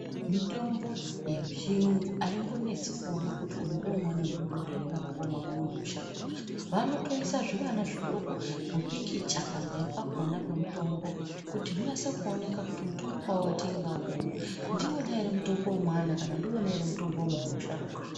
Mitombo yechiyungu aimbonetsi kuona kuti uyu ngewe mwana mudodori ere kana kuti ngewemunhu musharukwa. Vanotoisa zvivana zvidoko mipikicha pamberi pakhona pemitombo kuti unase kuoneka kuti, mutombo wawatenga uyu, ndiwona ere mutombo wemwana, kana kuti ndiwona ere mutombo wemunhu musharuka.